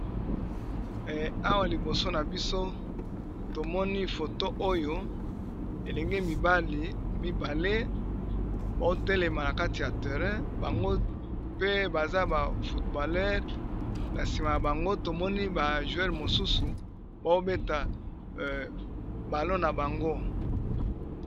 awa liboso na biso tomoni foto oyo elenge mibali mibale baotelema na kati ya terrain bango pe baza ba fotbollere na nsima ya bango tomoni ba juere mosusu baobeta balo na bango